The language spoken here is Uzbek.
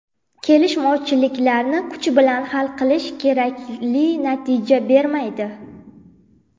Kelishmovchiliklarni kuch bilan hal qilish kerakli natija bermaydi.